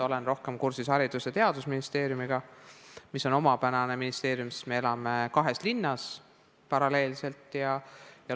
Olen rohkem kursis Haridus- ja Teadusministeeriumiga, mis on omapärane ministeerium, sest me elame paralleelselt kahes linnas.